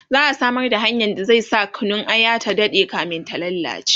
za'a Samar da hanyar da zai sa Kunun aya ta Dade kamin ta lallace